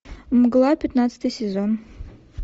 мгла пятнадцатый сезон